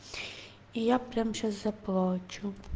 и я прямо сейчас заплачу